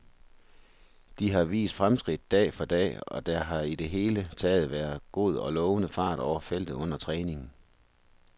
De har vist fremskridt dag for dag, og der har i det hele taget været god og lovende fart over feltet under træningen.